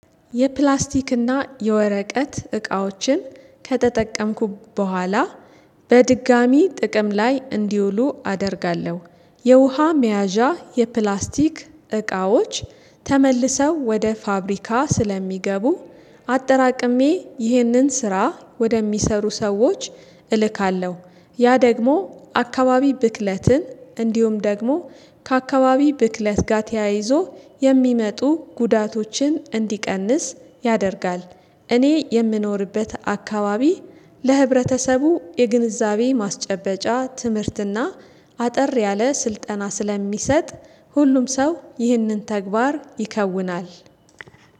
የፕላስቲክና የወረቀት እቃዎችን ከተጠቀምኩ በኋላ በድጋሚ ጥቅም ላይ እንዲውሉ አደርጋለሁ። የውሃ መያዣ የፕላስቲክ እቃዎች ተመልሰው ወደ ፋብሪካ ስለሚገቡ አጠራቅሜ ይህንን ስራ ወደሚሰሩ ሰዎች እልካለሁ። ያ ደግሞ አካባቢ ብክለትን እንዲሁም ደግሞ ከአካባቢ ብክለት ጋር ተያይዞ የሚመጡ ጉዳቶችን እንዲቀንስ ያደርጋል። እኔ የምኖርበት አካባቢ ለህብረተሰቡ የግንዛቤ ማስጨበጫ ትምህርትና አጠር ያለ ስልጠና ስለሚሰጥ ሁሉም ሰው ይህንን ተግባር ይከውናል።